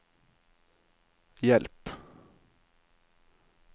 hjelp